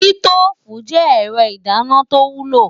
Sítóòfù je ẹ̀rọ ìdáná tó wúlò.